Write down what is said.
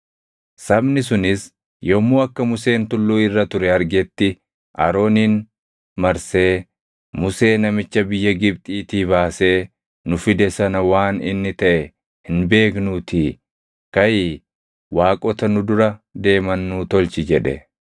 Sabni sunis yommuu akka Museen tulluu irra ture argetti Aroonin marsee, “Musee namicha biyya Gibxiitii baasee nu fide sana waan inni taʼe hin beeknuutii kaʼii waaqota nu dura deeman nuu tolchi” jedhe.